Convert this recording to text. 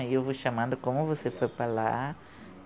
Aí eu vou chamando como você foi para lá.